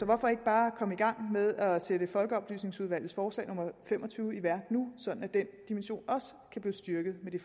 hvorfor ikke bare komme i gang med at sætte folkeoplysningsudvalgets forslag nummer fem og tyve i værk nu sådan at den dimension også kan blive styrket med det